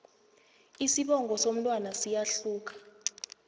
isibongo somntwana siyahluka